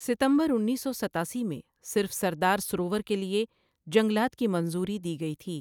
ستمبر انیس سو ستاسی میں صرف سردار سروور کے لیے جنگلات کی منظوری دی گئی تھی۔